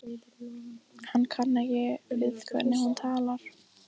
Hann kann ekki við hvernig hún talar.